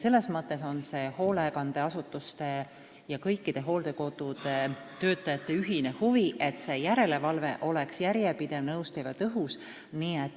Selles mõttes on hoolekandeasutuste ja kõikide hooldekodude töötajate ühine huvi, et järelevalve oleks järjepidev, nõustav ja tõhus.